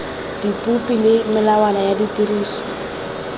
dipopi le melawana ya tiriso